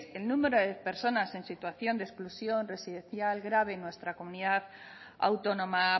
el número de personas en situación de exclusión residencial grave en nuestra comunidad autónoma